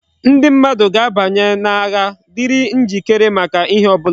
Ndi mmadu ga abanye na agha diri njikere maka ihe obula